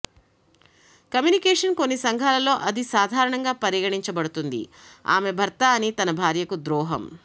communication కొన్ని సంఘాలలో అది సాధారణంగా పరిగణించబడుతుంది ఆమె భర్త అని తన భార్యకు ద్రోహం